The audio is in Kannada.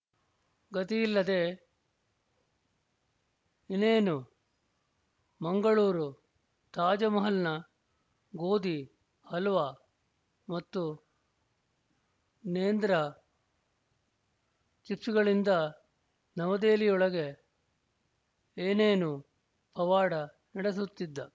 ಗತಿಯಿಲ್ಲದೆ ಇನೇನು ಮಂಗಳೂರು ತಾಜ್ ಮಹಲ್ನ ಗೋಧಿ ಹಲ್ವ ಮತ್ತು ನೇಂದ್ರ ಚಿಪ್ಸ್ ಗಳಿಂದ ನವದೆಹಲಿಯೊಳಗೆ ಏನೇನೊ ಪವಾಡ ನಡೆಸುತ್ತಿದ್ದ